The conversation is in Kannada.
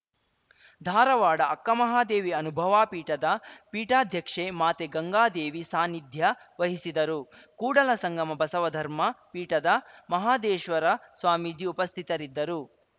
ಧಾರವಾಡ ಅಕ್ಕಮಹಾದೇವಿ ಅನುಭಾವ ಪೀಠದ ಪೀಠಾಧ್ಯಕ್ಷೆ ಮಾತೆ ಗಂಗಾದೇವಿ ಸಾನ್ನಿಧ್ಯ ವಹಿಸಿದರು ಕೂಡಲಸಂಗಮ ಬಸವ ಧರ್ಮ ಪೀಠದ ಮಹಾದೇಶ್ವರ ಸ್ವಾಮೀಜಿ ಉಪಸ್ಥಿತರಿದ್ದರು